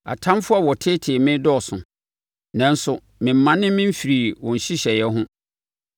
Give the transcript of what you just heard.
Atamfoɔ a wɔteetee me dɔɔso, nanso memmane memfirii wo nhyehyɛeɛ ho.